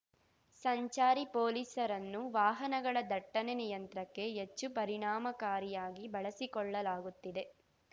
ಸಂಚಾರಿ ಪೊಲೀಸರನ್ನು ವಾಹನಗಳ ದಟ್ಟಣೆ ನಿಯಂತ್ರಕ್ಕೆ ಹೆಚ್ಚು ಪರಿಣಾಮಕಾರಿಯಾಗಿ ಬಳಸಿಕೊಳ್ಳಲಾಗುತ್ತಿದೆ